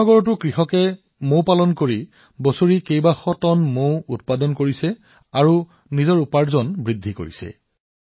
যমুনা চহৰত কৃষকসকলে মৌ মাকি পালন কৰি বছৰি কেইবাশ টন মৌ উৎপাদন কৰি আছে তেওঁলোকৰ উপাৰ্জন বৃদ্ধি কৰিছে